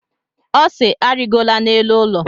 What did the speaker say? Ọ si, arịgola n'elu ụlọ!